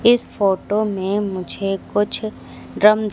इस फोटो में मुझे कुछ ड्रम --